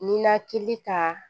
Ninakili kan